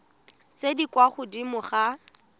tse di kwa godimo ga